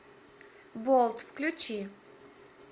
болт включи